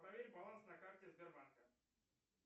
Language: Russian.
проверь баланс на карте сбербанка